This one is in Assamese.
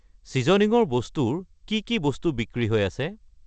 ছিজনিঙৰ বস্তু ৰ কি কি বস্তু বিক্ৰী হৈ আছে?